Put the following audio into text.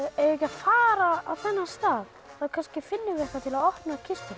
ekki að fara á þennan stað þá kannski finnum við eitthvað til að opna kistuna